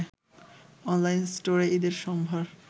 online স্টোরে ঈদের সম্ভার